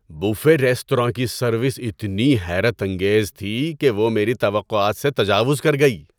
Buffet restaurant کی service اتنی حیرت انگیز تھی کہ وہ میری توقعات سے تجاوز کر گئی!